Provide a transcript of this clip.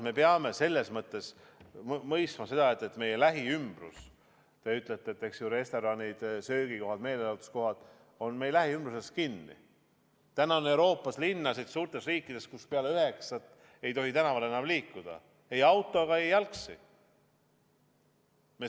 Me peame mõistma seda, kui te ütlete, et restoranid, söögikohad, meelelahutuskohad on meie lähiümbruses kinni, et täna on Euroopa suurtes riikides linnasid, kus peale kella üheksat ei tohi tänaval enam liikuda ei autoga ega jalgsi.